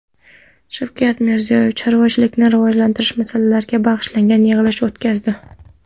Shavkat Mirziyoyev chorvachilikni rivojlantirish masalalariga bag‘ishlangan yig‘ilish o‘tkazdi.